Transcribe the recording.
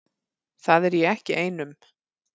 Það er ég ekki ein um.